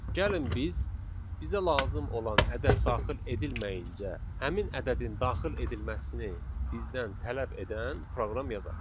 Gəlin biz bizə lazım olan ədəd daxil edilməyincə, həmin ədədin daxil edilməsini bizdən tələb edən proqram yazaq.